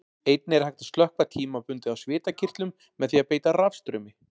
Einnig er hægt að slökkva tímabundið á svitakirtlum með því að beita rafstraumi.